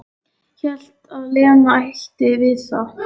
Hélt að Lena ætti við það.